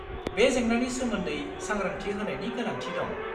बे जेंनानि सोमोन्दै सांग्रांथि होनायनि गोनांथि दं।